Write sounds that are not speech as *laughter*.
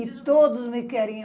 E todos me *unintelligible*